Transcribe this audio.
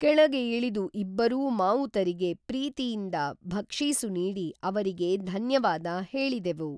ಕೆಳಗೆ ಇಳಿದು ಇಬ್ಬರೂ ಮಾವುತರಿಗೆ ಪ್ರೀತಿಯಿಂದ ಭಕ್ಷೀಸು ನೀಡಿ ಅವರಿಗೆ ಧನ್ಯವಾದ ಹೇಳಿದೆವು.